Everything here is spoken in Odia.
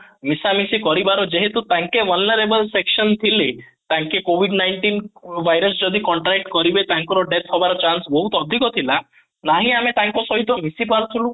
ମିଶା ମିଶି କରିବାର ଯେହେତୁ ତାଙ୍କେ section ଥିଲେ ତାଙ୍କେ covid nineteen virus ଯଦି contract କରିବେ ତାଙ୍କର death ହବାର chance ବହୁତ ଅଧିକ ଥିଲା ନାହିଁ ଆମେ ତାଙ୍କ ସହିତ ମିଶି ପାରୁଥିଲୁ